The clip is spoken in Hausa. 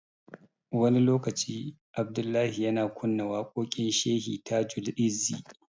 Wani lokaci, Abdullahi yana kunna waƙoƙin Shehi Tajul-izzi.